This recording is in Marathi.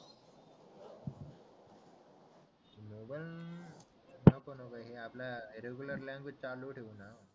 नको नको हे आपल्या रेगुलर लॅंग्वेज चालू ठेवू ना